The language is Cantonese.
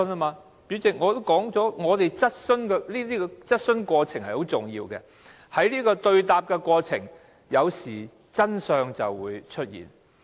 代理主席，我已經說過質詢的過程十分重要，因為在一問一答的過程中，有時候真相便會出現。